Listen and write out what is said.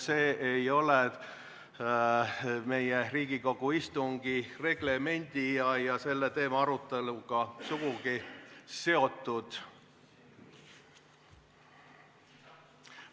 See ei ole meie Riigikogu istungi reglemendi ja selle teema aruteluga sugugi seotud.